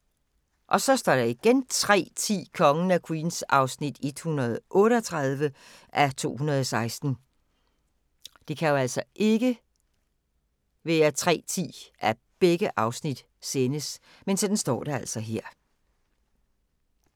03:10: Kongen af Queens (138:216)